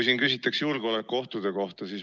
Siin on küsitud julgeolekuohtude kohta.